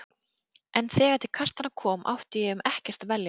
En þegar til kastanna kom átti ég um ekkert að velja.